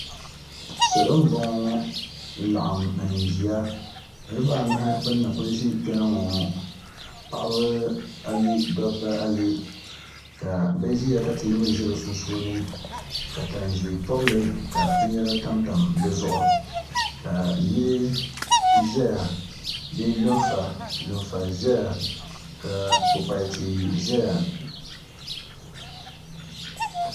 Salo m boŋɔ n laɣim n ʒia niriba anu kuli ʒi kpena ŋɔŋɔ paɣaba ayi dabba ayi ka bɛ ʒia ka teebuli ʒɛ bɛ sunsuuni ka tan'ʒee pobli binyera tam tamya ka yili lunfa ʒɛya ka kpukpal'tia ʒɛya.